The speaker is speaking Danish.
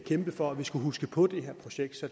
få